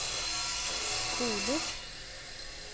kones